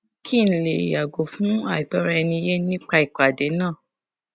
kí n lè yàgò fún àìgbọraẹniyé nípa ìpàdé náà